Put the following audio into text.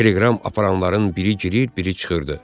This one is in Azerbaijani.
Teleqram aparanların biri girir, biri çıxırdı.